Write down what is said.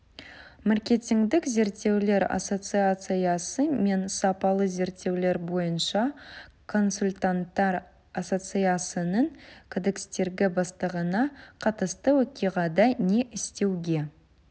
маркетингтік зерттеулер ассоциациясы мен сапалы зерттеулер бойынша консультанттар ассоциациясының кодекстері бастығына қатысты оқиғада не істеуге